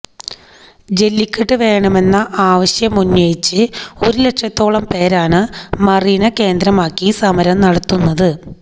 ജെല്ലിക്കെട്ട് വേണമെന്ന ആവശ്യമുന്നയിച്ച് ഒരു ലക്ഷത്തോളം പേരാണ് മറീന കേന്ദ്രമാക്കി സമരം നടത്തുന്നത്